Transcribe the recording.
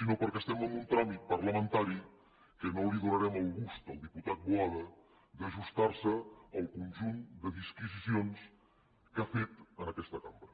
sinó perquè estem en un tràmit parlamentari que no li donarem el gust al diputat boada d’ajustar se al conjunt de disquisicions que ha fet en aquesta cambra